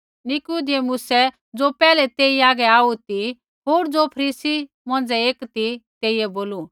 निकुदेमुसऐ ज़ो पैहलै तेई हागै आऊ ती होर ज़ो फरीसी मौंझ़ै एक ती तेइयै बोलू